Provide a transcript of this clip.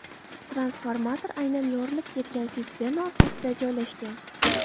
Transformator aynan yorilib ketgan sisterna orqasida joylashgan.